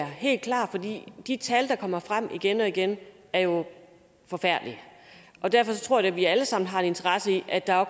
helt klart for de tal der kommer frem igen og igen er jo forfærdelige og derfor tror jeg da vi alle sammen har en interesse i at der